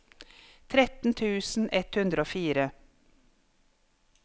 tretten tusen ett hundre og fire